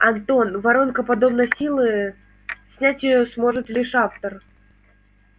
антон воронка подобной силы снять её сможет лишь автор